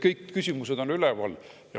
Kõik need küsimused on üleval.